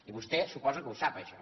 i vostè suposo que ho sap això